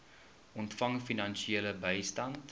ontvang finansiële bystand